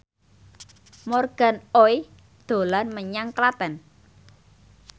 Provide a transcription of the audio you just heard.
Morgan Oey dolan menyang Klaten